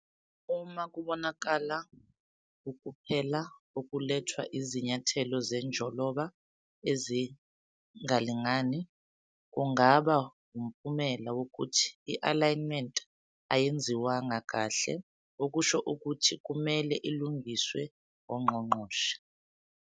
Uma kubonakala ukuphela okulethwa izinyathelo zenjoloba ezingalingani, kungaba wumphumela wokuthi i-alignment ayenziwanga kahle okusho ukuthi kumele ilungiswe ongqongqoshe.